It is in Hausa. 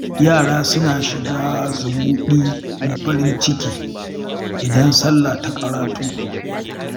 Yara suna shiga zumuɗi da farin ciki, idan sallah ta ƙarato.